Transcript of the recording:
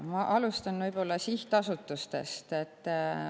Ma alustan sihtasutustest.